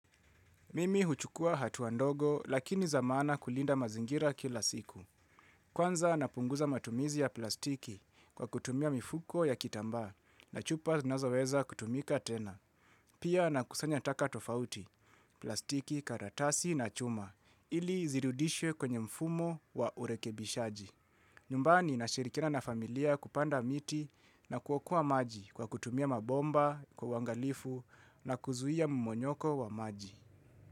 Mimi huchukua hatuandogo lakini za maana kulinda mazingira kila siku. Kwanza napunguza matumizi ya plastiki kwa kutumia mifuko ya kitambaa na chupa ninazoweza kutumika tena. Pia nakusanya taka tofauti, plastiki karatasi na chuma ili zirudishwe kwenye mfumo wa urekebishaji. Nyumbani nashirikina na familia kupanda miti na kuokua maji kwa kutumia mabomba kwa wangalifu na kuzuhia mmonyoko wa maji.